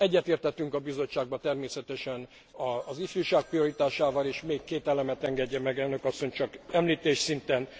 Egyetértettünk a bizottságban természetesen az ifjúság prioritásával, és még két elemet engedjen meg elnök asszony, csak említés szinten.